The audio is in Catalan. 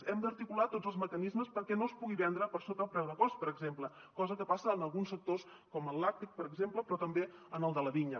hem d’articular tots els mecanismes perquè no es pugui vendre per sota el preu de cost per exemple cosa que passa en alguns sectors com el làctic per exemple però també en el de la vinya